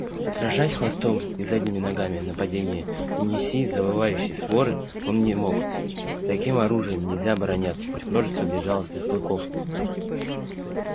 отражать хвостом и задними ногами нападение неси завывающей своры он не мог таким оружием нельзя обороняться против множества безжалостных клыков